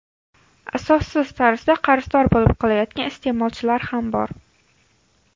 Asossiz tarzda qarzdor bo‘lib qolayotgan iste’molchilar ham bor.